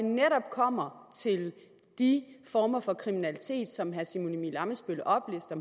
kommer til de former for kriminalitet som herre simon emil ammitzbøll oplister